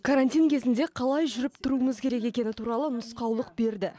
карантин кезінде қалай жүріп тұруымыз керек екені туралы нұсқаулық берді